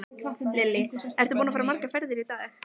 Lillý: Ertu búinn að fara margar ferðir í dag?